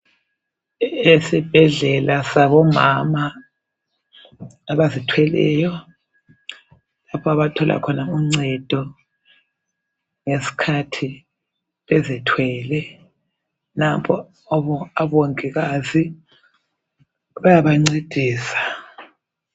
Esibhedlela sabomama abazithweleyo lapha abathola khona uncedo ngesikhathi bezithwele nampo abongikazi bayabancedisa.